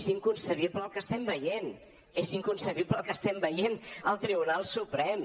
és inconcebible el que estem veient és inconcebible el que estem veient al tribunal suprem